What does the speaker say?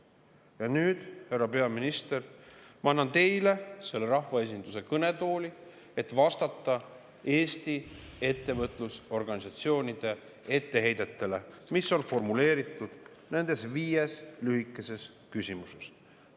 Ja nüüd, härra peaminister, ma annan teile selle rahvaesinduse kõnetooli, et vastata Eesti ettevõtlusorganisatsioonide etteheidetele, mis on formuleeritud nendes viies lühikeses küsimuses.